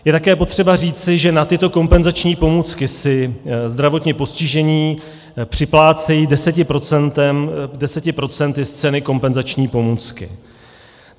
Je také potřeba říci, že na tyto kompenzační pomůcky si zdravotně postižení připlácejí 10 % z ceny kompenzační pomůcky.